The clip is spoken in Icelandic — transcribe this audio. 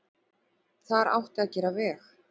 Þar átti að gera veg.